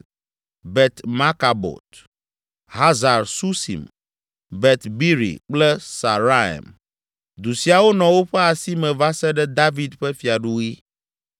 Bet Markabot, Hazar Susim, Bet Biri kple Saaraim. Du siawo nɔ woƒe asi me va se ɖe David ƒe fiaɖuɣi.